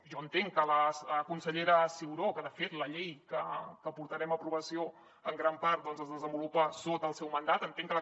jo entenc que la consellera ciuró que de fet la llei que portarem a aprovació en gran part doncs es desenvolupa sota el seu mandat